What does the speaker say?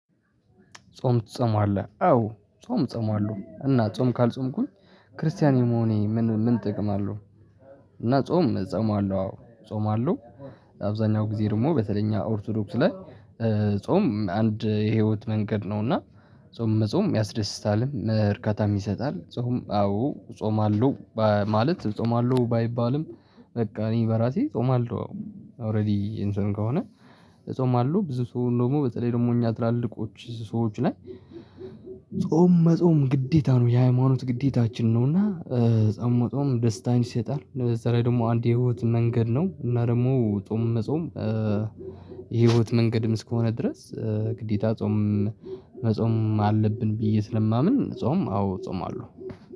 ጾም ትጾማለህ አዎ ጾም ጾማለሁ እና ጾም ካልጾምኩኝ ክርስቲያን የመሆኔ ምን ምን ጥቅም አለው? እና ጾም ጾም አለው አዎ ጾም አለው። አብዛኛው ጊዜ ደግሞ በተለይ እኛ ኦርቶዶክስ ላይ ጾም አንድ የህይወት መንገድ ነው። እና ጾም መጾም ያስደስታልም እርካታም ይሰጣል። ጾም አዎ ጾማለሁ ማለት ጾማለሁ ባይባልም በቃ እኔ በራሴ ጾማለሁ ኦሬዲ እንትን ከሆነ። ጾምአለው ብዙ ሰው ደግሞ በተለይ ደግሞ እኛ ትላልቆች ሰዎች ላይ ጾም መጾም ግዴታ ነው የሃይማኖት ግዴታችን ነው። እና ጾምመጾም ደስታን ይሰጣል በዛ ላይ ደግሞ አንድ የህይወት መንገድ ነው። እና ደግሞ ጾም መጾም የህይወት መንገድም እስከሆነ ድረስ ግዴታ ጾም መጾም አለብን ብዬ ስለማምን ጾም አዎ ጾምአለው።